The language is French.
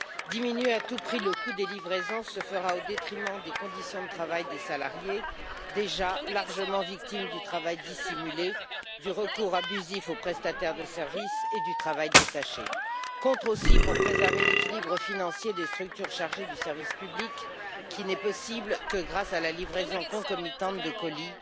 Diminuer à tout prix le coût des livraisons se fera au détriment des conditions de travail des salariés, déjà largement victimes du travail dissimulé, du recours abusif aux prestataires de services et du travail détaché. Contre aussi pour préserver l'équilibre financier des structures chargées du service public, qui n'est possible que grâce à la livraison concomitante de colis.